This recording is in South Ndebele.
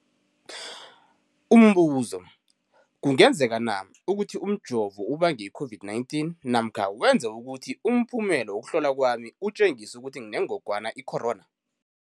Umbuzo, kungenzekana ukuthi umjovo ubange i-COVID-19 namkha wenze ukuthi umphumela wokuhlolwa kwami utjengise ukuthi nginengogwana i-corona?